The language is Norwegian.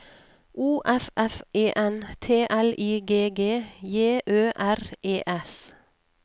O F F E N T L I G G J Ø R E S